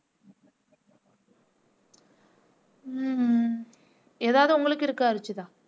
உம் ஏதாவது உங்களுக்கு இருக்கா ருஷிதா